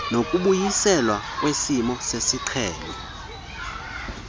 nokubuyiselwa kwesimo sesiqhelo